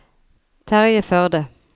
Terje Førde